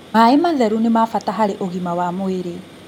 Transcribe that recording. Maĩ matheru nĩ ma bata harĩ ũgima mwega wa mwĩrĩ